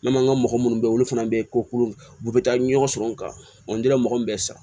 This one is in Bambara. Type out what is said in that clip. N'an man mɔgɔ munnu be yen olu fana be ko kuru u be taa ɲɔgɔn sɔrɔ ka mɔgɔ min san